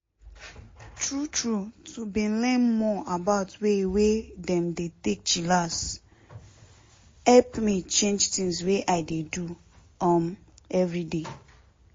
true true to bin learn more about way wey dem dey take dey chillax hep me change tins wey i dey do um everyday.